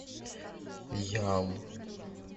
ял